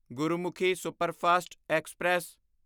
Gurmukhi superfast express